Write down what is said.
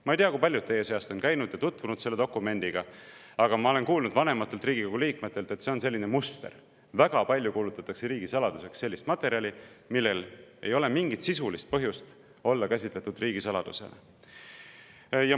Ma ei tea, kui paljud teie seast on tutvunud selle dokumendiga, aga ma olen kuulnud vanematelt Riigikogu liikmetelt, et on selline muster, et väga kuulutatakse riigisaladuseks sellist materjali, mille puhul ei ole mingit sisulist põhjust, et seda käsitletaks riigisaladusena.